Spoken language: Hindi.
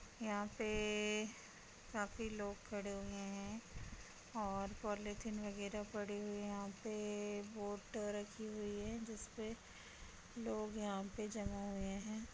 यहां पे काफी लोग खड़े हुए हैं और पॉलिथीन वगेरा पड़ी हुई हैं। यहां पे बोट रखी हुई हैं जिसपे लोग यहां पे जमा हुए हैं।